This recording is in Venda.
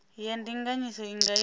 ya ndinganyiso i nga ita